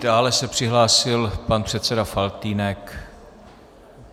Dále se přihlásil pan předseda Faltýnek.